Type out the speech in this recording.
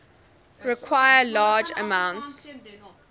require large amounts